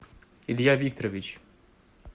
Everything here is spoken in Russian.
илья викторович